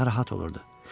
Narahat olurdu.